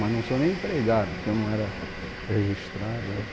Mas não sou nem empregado, porque eu não era registrado, né?